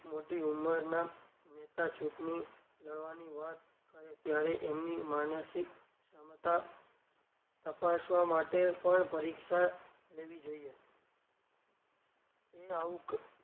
મોટી ઉમરનાં નેતા ચુંટણી લડવાની વાત કરે ત્યારે એમની માનસિક ક્ષમતા તપાસવા માટે પણ પરિક્ષા લેવી જોઈએ એ આવું ક,